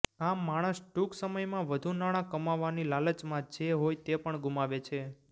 આમ માણસ ટૂંક સમયમાં વધુ નાણાં કમાવાની લાલચમાં જે હોય તે પણ ગુમાવે છે